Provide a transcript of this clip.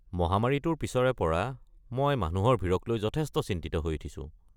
মহামাৰীটোৰ পিছৰে পৰা মই মানুহৰ ভিৰক লৈ যথেষ্ট চিন্তিত হৈ উঠিছোঁ।